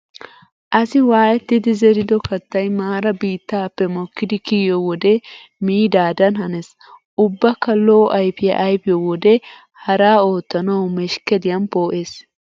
Asi waayettidi zerido kattay maara biittaappe mokkidi kiyiyo wode miidaadan hanees. Ubbakka lo"o ayfiya ayfiyo wode haraa oottanawu meshkkeliyan poo'ees.